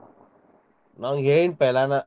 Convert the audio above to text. ನಾ ಹೇಳಿನಿ .